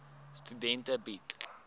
studente bied